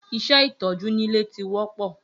Iṣẹ́ ìtọ́jú nílé ti wọ́pọ́